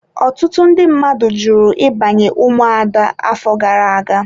Ọtụtụ ndị mmadụ jụrụ ịbanye ụmụada afọ gara aga.